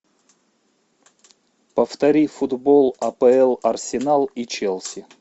повтори футбол апл арсенал и челси